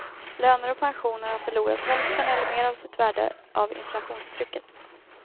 Löner och pensioner har förlorat hälften eller mer av sitt värde av inflationstrycket.